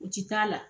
U ti taa la